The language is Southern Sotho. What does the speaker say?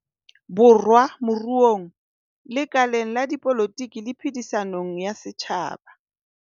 Borwa moruong, lekaleng la dipolotiki le phedi-sanong ya setjhaba.